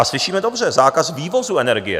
A slyšíme dobře - zákaz vývozu energie.